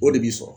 O de b'i sɔrɔ